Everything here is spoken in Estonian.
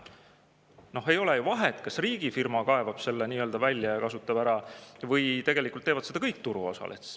No ei ole ju vahet, kas riigifirma kaevab selle välja ja kasutab ära või teevad seda kõik turuosalised.